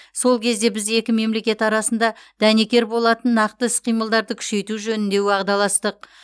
сол кезде біз екі мемлекет арасында дәнекер болатын нақты іс қимылдарды күшейту жөнінде уағдаластық